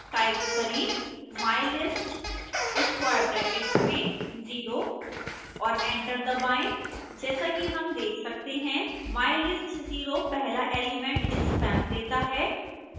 type करें mylist square brackets में zero और एंटर दबाएं